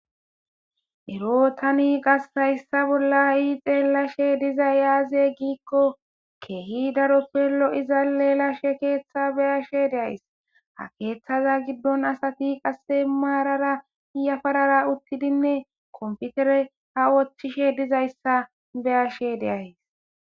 ero tani qase hayssa bolla ii xeelashe dizay yaaze giikko keehi daroppe lo7iza leelashe keeththa beyashe de'ays ha keeththaza giddon asati qasse maarara yafarara uttidinne konfitere ha woochchishe dizayssa beyashe de'ays